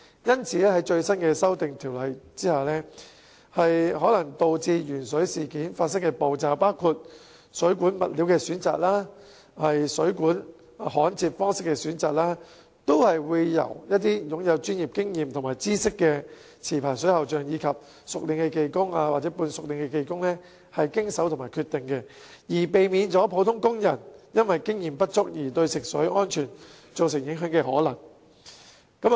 因此，在新修訂下，可能導致鉛水事件發生的步驟，包括水管物料及水管焊接方式的選擇，都會交由擁有專業經驗和知識的持牌水喉匠、熟練技工或半熟練技工經手和決定，避免普通工人因經驗不足而對食水安全造成影響的可能。